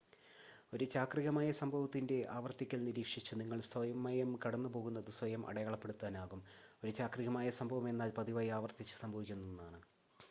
ഒരു ചാക്രികമായ സംഭവത്തിൻ്റെ ആവർത്തിക്കൽ നിരീക്ഷിച്ച് നിങ്ങൾക്ക് സമയം കടന്നുപോകുന്നത് സ്വയം അടയാളപ്പെടുത്താനാകും ഒരു ചാക്രികമായ സംഭവം എന്നാൽ പതിവായി ആവർത്തിച്ച് സംഭവിക്കുന്ന ഒന്നാണ്